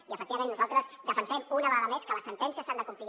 i efectivament nosaltres defensem una vegada més que les sentències s’han de complir